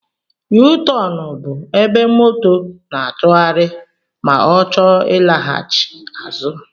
yuutọọnụ bụ ébé moto n'atughari ma ọ chọọ ilaghachi azụ.